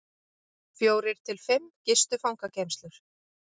Fjórir til fimm gistu fangageymslur